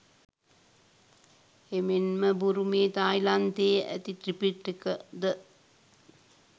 එමෙන්ම බුරුමයේ තායිලන්තයේ ඇති ත්‍රිපිටක ද